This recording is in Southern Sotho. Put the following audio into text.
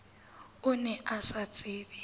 o ne o sa tsebe